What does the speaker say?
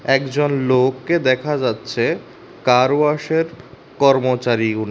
একজন লোককে দেখা যাচ্ছে কার ওয়াশের কর্মচারী উনি।